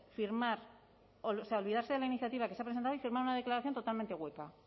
olvidarse de la iniciativa que se ha presentado y firmar una declaración totalmente hueca